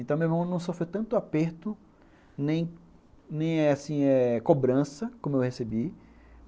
Então meu irmão não sofreu tanto aperto, nem cobrança, nem assim, é, cobrança como eu recebi.